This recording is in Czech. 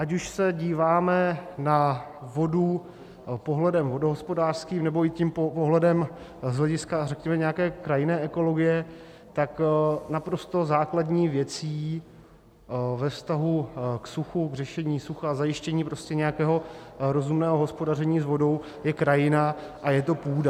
Ať už se díváme na vodu pohledem vodohospodářským nebo i tím pohledem z hlediska řekněme nějaké krajinné ekologie, tak naprosto základní věcí ve vztahu k suchu, k řešení sucha, k zajištění prostě nějakého rozumného hospodaření s vodou je krajina a je to půda.